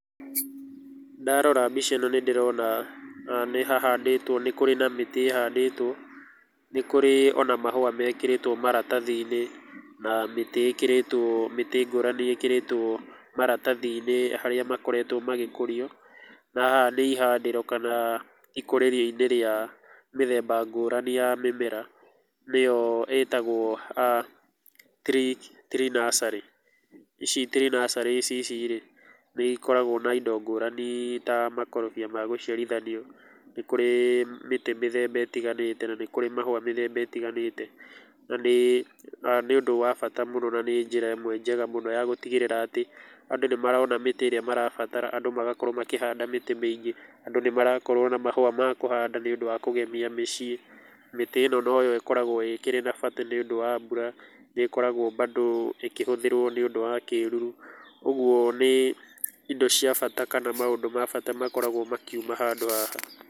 Ndarora mbica ĩno nĩ ndĩrona nĩ hahandĩtwo nĩ kũrĩ na mĩtĩ ĩhandĩtwo, nĩ kũrĩ ona mahũa mekĩrĩtũo maratathi-inĩ na mĩtĩ ĩkĩrĩtwo mĩtĩ ngũrani ĩkĩrĩtwo maratathi-inĩ harĩa makoretwo magĩkũrio. Na haha nĩ ihandĩro kana ikũrĩrio rĩa mĩthemba ngũrani ya mĩmera, nĩyo ĩtagwo tree nursery. Ici tree nursery ici rĩ, nĩ ikoragwo na indo ngũrani ta makorobia ma gũciarithanio, nĩ kũrĩ mĩtĩ mĩthemba ĩtiganĩte na nĩ kũrĩ mahũa mĩthemba ĩtiganĩte, na nĩ ũndũ wa bata mũno na nĩ njĩra ĩmwe njega mũno ya gũtigĩrĩra, atĩ andũ nĩ marona mĩtĩ ĩrĩa marabatara, andũ magakorwo makĩhanda mĩtĩ mĩingĩ, andũ nĩ marakorwo na mahũa ma kũhanda nĩũndũ wa kũgemia mĩciĩ. Mĩtĩ ĩno no yo ĩkoragwo ĩkĩrĩ na bata nĩũndũ wa mbura, nĩ ĩkoragwo bado ĩkihũthĩrwo nĩũndũ wa kĩruru. Ũguo nĩ indo cia bata kana maũndũ ma bata makoragwo makiuma handũ haha.